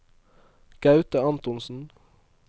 Gaute Antonsen